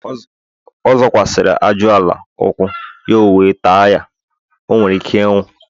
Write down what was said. ọ zọkwasiri aju-ala ukwu, ya owe taa ya. o were Ike inwu